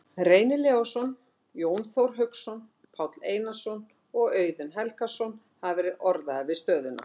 Reynir Leósson, Jón Þór Hauksson, Páll Einarsson og Auðun Helgason hafa verið orðaðir við stöðuna.